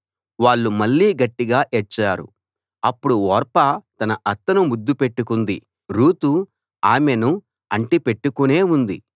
వాళ్ళు మళ్ళీ గట్టిగా ఏడ్చారు అప్పుడు ఓర్పా తన అత్తను ముద్దు పెట్టుకుంది రూతు ఆమెను అంటి పెట్టుకునే ఉంది